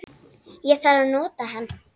Ég þarf að nota hann